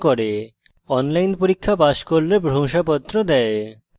online পরীক্ষা pass করলে প্রশংসাপত্র দেয়